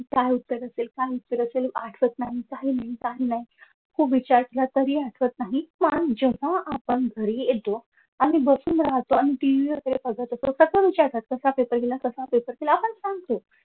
काय उत्तर असेल काय उत्तर असेल आठवत नाही काही नाही काही नाही खूप विचार केला तरी आठवत नाही पण जेव्हा आपण घरी येतो आणि बसून राहतो आणि TV वगेरे बघत असतो कसा विचार करतो कसा पेपर गेला कसा पेपर गेला आपण सांगतो